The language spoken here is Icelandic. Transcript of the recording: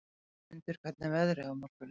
Ingimundur, hvernig er veðrið á morgun?